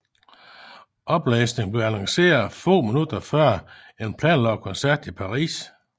Opløsningen blev annonceret få minutter før en planlagt koncert i Paris